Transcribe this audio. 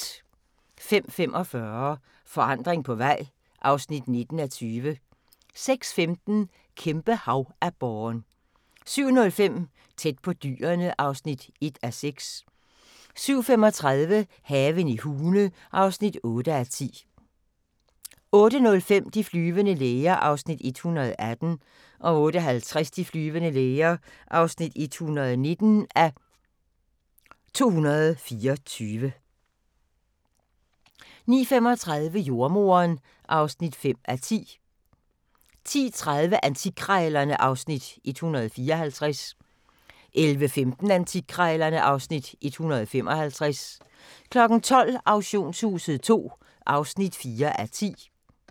05:45: Forandring på vej (19:20) 06:15: Kæmpe-havaborren 07:05: Tæt på dyrene (1:6) 07:35: Haven i Hune (8:10) 08:05: De flyvende læger (118:224) 08:50: De flyvende læger (119:224) 09:35: Jordemoderen (5:10) 10:30: Antikkrejlerne (Afs. 154) 11:15: Antikkrejlerne (Afs. 155) 12:00: Auktionshuset II (4:10)